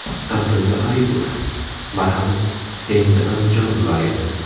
Abdulla Aripov: Marhamat, endi Andijon viloyati.